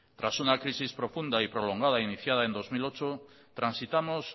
tras una crisis profunda y prolongada iniciada en dos mil ocho transitamos